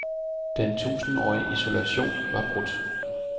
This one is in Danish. Den tusindårige isolation var brudt.